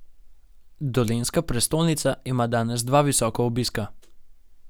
Dolenjska prestolnica ima danes dva visoka obiska.